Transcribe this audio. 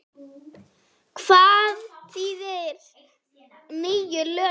Hvað þýða nýju lögin?